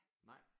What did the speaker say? Nej?